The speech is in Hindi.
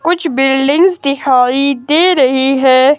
कुछ बिल्डिंग्स दिखाई दे रही है।